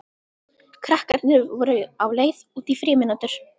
Krakkarnir voru á leið út í frímínútur.